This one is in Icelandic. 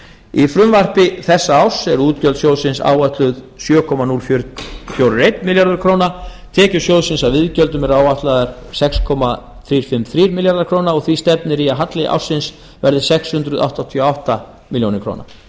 í frumvarpi þessa árs eru útgjöld sjóðsins áætluð sjö þúsund fjörutíu og eina milljón króna tekjur sjóðsins af iðgjöldum eru áætlaðar sex þúsund þrjú hundruð fimmtíu og þrjár milljónir króna og því stefnir í að halli ársins verði sex hundruð áttatíu og átta milljónir króna